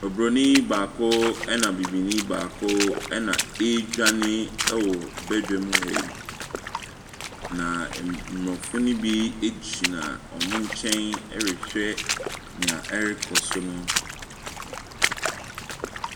Obronin baako na bibini baako na ɛredwane wɔ badwam ha yi, na aborɔfo ne bi gyina wɔn nkyɛn, wɔrehwɛ deɛ ɛrekɔ so no.